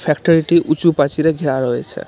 ফ্যাক্টরিটি উঁচু পাঁচিলে ঘেরা রয়েছে .